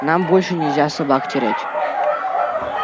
нам больше нельзя собак терять